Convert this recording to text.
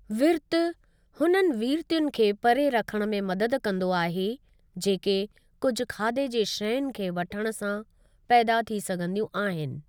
विर्तु हुननि विर्तीयुनि खे परे रखणु में मददु कंदो आहे जेके कुझु खाधे जी शयूंनि खे वठणु सां पैदा थी सघंदियूं आहिनि।